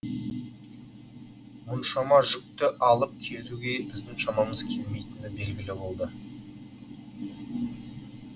мұншама жүкті алып кетуге біздің шамамыз келмейтіні белгілі болды